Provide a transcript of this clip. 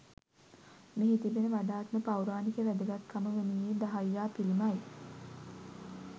මෙහි තිබෙන වඩාත්ම පෞරාණික වැදගත්කම වනුයේ දහයියා පිළිමයි